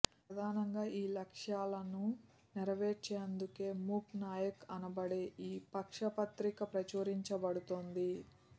ప్రధానంగా ఈ లక్ష్యాలని నెరవేర్చేందుకే మూక్ నాయక్ అనబడే ఈ పక్షపత్రిక ప్రచురించబడుతోంది